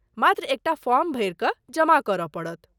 मात्र एकटा फॉर्म भरि कऽ जमा करय पड़त।